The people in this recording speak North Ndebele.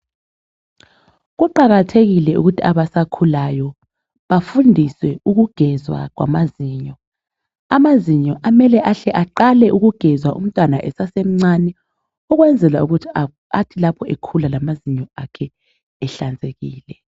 Kuqakathekile ukuthi abasakhulayo bafundise ukugezwa kwamazinyo amazinyo kumele ahle aqale ukugezwa esesemncane ukuze lapho ethi ekhula ekhule lamazinyo akhe ehlanzekile.